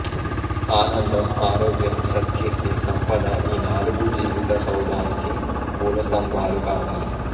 ఆనందం ఆరోగ్యం సత్కీర్తి సంపద ఈ నాలుగూ జీవిత సౌధానికి మూలస్తంభాలు కావాలి